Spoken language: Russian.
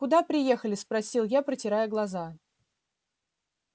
куда приехали спросил я протирая глаза